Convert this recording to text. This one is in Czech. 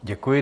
Děkuji.